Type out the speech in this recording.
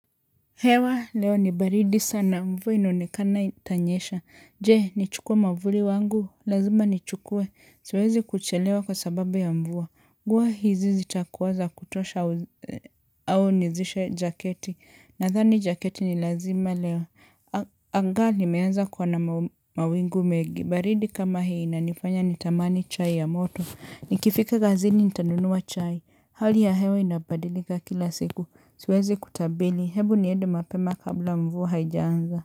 Hewa, leo ni baridi sana. Mvua inaonekana itanyesha. Je, nichukue mwavuli wangu. Lazima nichukue. Siwezi kuchelewa kwa sababu ya mvua. Nguo hizi zitakuwa za kutosha au nizishe jaketi. Nadhani jaketi ni lazima leo. Anga limeanza kuwa na mawingu megi. Baridi kama hii inanifanya nitamani chai ya moto. Nikifika kazini nitanunua chai. Hali ya hewa inabadilika kila siku. Siwezi kutabili, hebu niede mapema kabla mvua haijaanza.